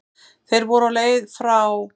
Þeir voru á leið frá